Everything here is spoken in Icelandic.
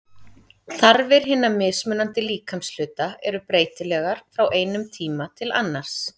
Þarfir hinna mismunandi líkamshluta eru breytilegar frá einum tíma til annars.